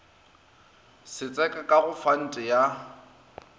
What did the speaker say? setseka ka go fante ya